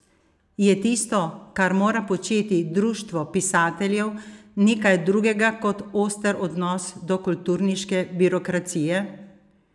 Je tisto, kar mora početi društvo pisateljev, nekaj drugega kot oster odnos do kulturniške birokracije?